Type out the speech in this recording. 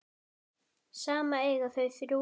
Saman eiga þau þrjú börn.